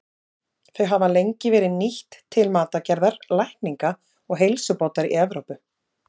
Þau hafa lengi verið nýtt til matargerðar, lækninga og heilsubótar í Evrópu.